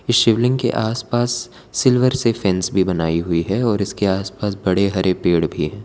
शिवलिंग के आस पास सिल्वर से फेंस भी बनाई हुई है और इसके आस पास बड़े हरे पेड़ भी हैं।